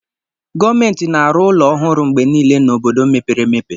Gọọmenti na-arụ ụlọ ọhụrụ mgbe niile na obodo mepere emepe